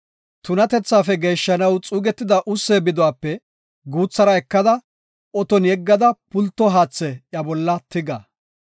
“Tunatethaafe geeshshanaw xuugetida ussee biduwape guuthara ekada oton yeggada pulto haathe iya bolla tiga.